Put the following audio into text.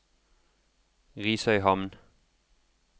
Risøyhamn